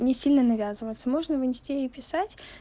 не сильно навязываться можно вынести и писать